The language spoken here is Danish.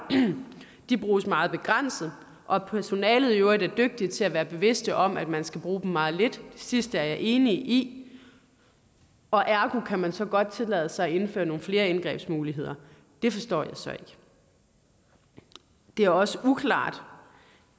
bruges meget begrænset og at personalet i øvrigt er dygtigt til at være bevidst om at man skal bruge dem meget lidt det sidste er jeg enig i og ergo kan man så godt tillade sig at indføre nogle flere indgrebsmuligheder det forstår jeg så ikke det er også uklart